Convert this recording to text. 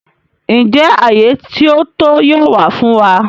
Njẹ àyé ti ó to yóò wa fun wa?